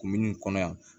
Kun minnu kɔnɔ yan